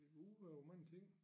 Udover mange ting